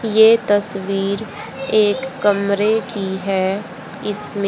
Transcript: ये तस्वीर एक कमरे की है इसमें--